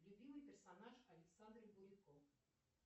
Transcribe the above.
любимый персонаж александра булыко